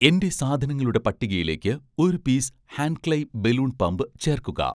എന്‍റെ സാധനങ്ങളുടെ പട്ടികയിലേക്ക് ഒരു പീസ് 'ഹാൻക്ലെയ്‌' ബലൂൺ പമ്പ് ചേർക്കുക